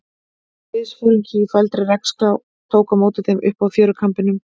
Liðsforingi í þvældri regnslá tók á móti þeim uppi á fjörukambinum.